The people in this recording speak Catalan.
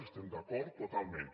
hi estem d’acord totalment